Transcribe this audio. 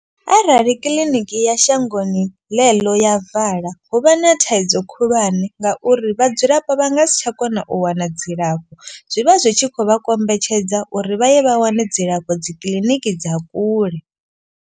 Arali kiḽiniki ya shangoni ḽe ḽo ya vala hu vha na thaidzo khulwane. Ngauri vhadzulapo vha nga si tsha kona u wana dzilafho. Zwivha zwi tshi khou vha kombetshedza uri vha ye vha wane dzilafho dzi kiḽiniki dza kule.